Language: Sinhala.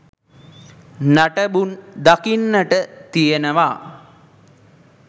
නටඹුන් දකින්නට තියනවා.